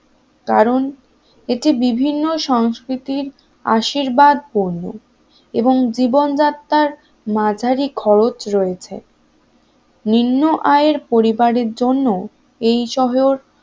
কারণ এতে বিভিন্ন সংস্কৃতির আশীর্বাদ পূর্ণ মাঝারি খরচ রয়েছে এবং জীবনযাত্রার মাঝারি খরচ রয়েছে নিম্ন আয় পরিবারের জন্য এই শহর